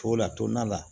To la tɔnna la